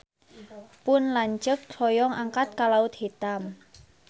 Pun lanceuk hoyong angkat ka Laut Hitam